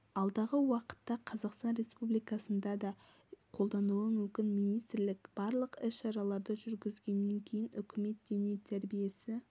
алдағы уақытта қазақстан республикасында да қолданылуы мүмкін министрлік барлық іс-шараларды жүргізгеннен кейін үкіметке дене тәрбиесі